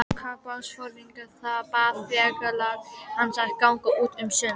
Kafbátsforinginn bað félaga hans að ganga út um stund.